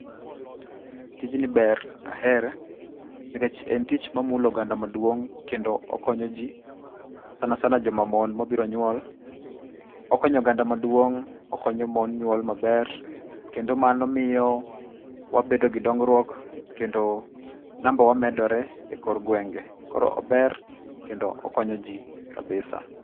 Tijni ber. Ahere. Nikech en tich mamulo oganda maduong', kendo okonyo ji, sana sana joma mon mobiro nyuol, okonyo oganda maduong', okonyo mon nyuol maber, kendo mano miyo wabedo gi dongruok, kendo namba wa medore, e kor gwenge, koro ober, kendo okonyo ji kabisa.